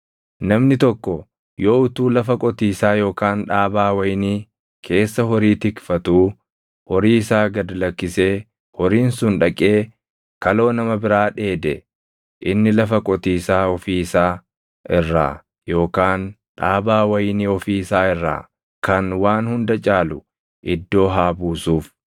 “Namni tokko yoo utuu lafa qotiisaa yookaan dhaabaa wayinii keessa horii tikfatuu horii isaa gad lakkisee horiin sun dhaqee kaloo nama biraa dheede, inni lafa qotiisaa ofii isaa irraa yookaan dhaabaa wayinii ofii isaa irraa kan waan hunda caalu iddoo haa buusuuf.